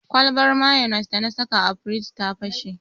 Kwalbar mayonis dana saka a firij ta fashe.